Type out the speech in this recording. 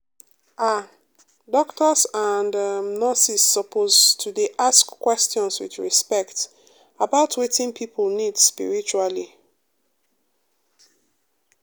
ah doctors and um nurses suppose to dey ask questions with respect about wetin people need spiritually.